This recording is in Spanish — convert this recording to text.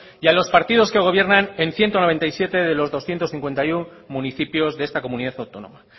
y a los partidos que gobiernan en ciento noventa y siete de los doscientos cincuenta y uno municipios de esta comunidad autónoma